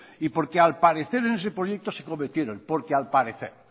y porque al parecer en ese proyecto se cometieron porque al parecer